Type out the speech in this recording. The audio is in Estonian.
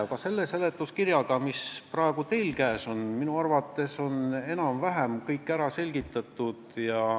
Aga selles seletuskirjas, mis teil praegu käes on, on minu arvates enam-vähem kõik ära selgitatud.